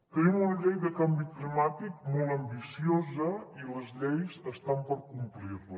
tenim una llei de canvi climàtic molt ambiciosa i les lleis estan per complir les